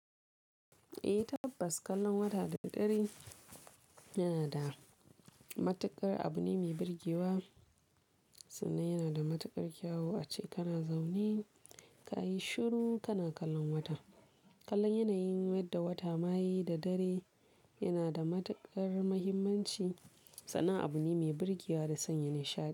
Eh tabbas kallon wata da dare yana da matuƙar abu ne mai birgewa, sannan yana da matuƙar kyawu ace kana zaune ka yi shiru kana kallon wata. Kallon yanayin yadda wata ma ye da dare yana da matuƙar muhimmanci, sannan abu ne mai birgewa da sanya nishaɗi.